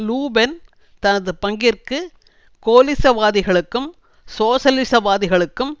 லு பென் தனது பங்கிற்கு கோலிசவாதிகளுக்கும் சோசலிசவாதிகளுக்கும்